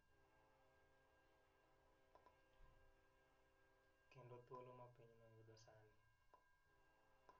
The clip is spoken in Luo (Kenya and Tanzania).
Kendo thuolo ma pinyno yudo sani.